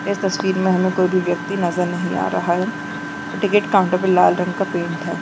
इस तस्वीर में हमें कोई भी व्यक्ति नजर नहीं आ रहा है टिकट काउंटर पे लाल रंग का पेंट है।